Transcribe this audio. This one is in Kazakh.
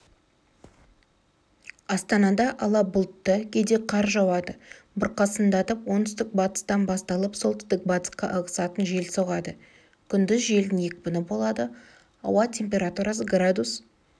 астанада ала бұлтты кейде қар жауады бұрқасындатып оңтүстік-батыстан басталып солтүстік-батысқа ығысатын жел соғады күндіз желдің екпіні болады ауа температурасы градус